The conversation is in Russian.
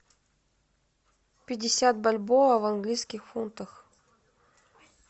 пятьдесят бальбоа в английских фунтах